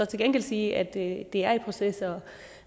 til gengæld sige at det er i proces og